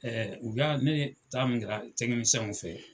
u y'a, ne taa min kɛra fɛ